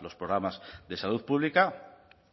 los programas de salud pública